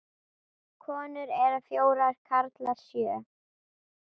Konur eru fjórar, karlar sjö.